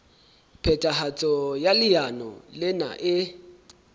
phethahatso ya leano lena e